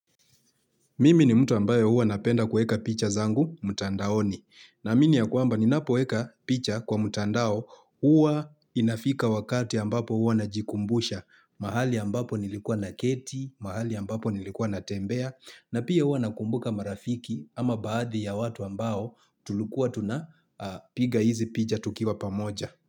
Mimi ni mtu ambaye hua napenda kuweka picha zangu mtandaoni. Naamini ya kwamba ninapoweka picha kwa mtandao, hua inafika wakati ambapo hua najikumbusha. Mahali ambapo nilikuwa naketi, mahali ambapo nilikuwa natembea, na pia hua nakumbuka marafiki ama baadhi ya watu ambao tulikuwa tunapiga hizi picha tukiwa pamoja.